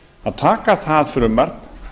að taka það frumvarp